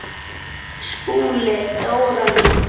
SKÚLI: Dóra mín!